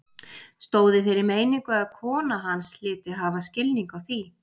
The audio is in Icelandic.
Stóð í þeirri meiningu að kona hans hlyti að hafa skilning á því.